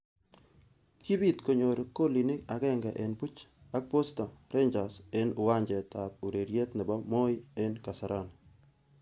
Kibit konyor kolinik agenge eng buch ak Posta Rangers eng uwanjet ab ureriet nebo Moin eng Kasarani.